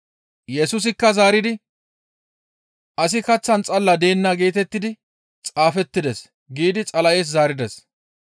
Yesusikka zaaridi, «Asi kaththan xalla deenna geetettidi xaafettides» giidi Xala7es zaarides.